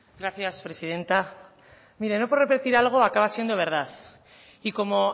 gracias presidenta mire no por repetir algo acaba siendo verdad y como